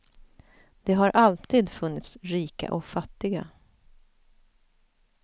Det har alltid funnits rika och fattiga.